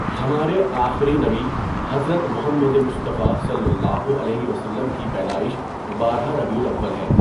ہمارے آخری نبی حضرت محمد مصطفیٰ صلی اللہ علیہ وسلم کی پیدائش بارہ ربیع الاول ہے.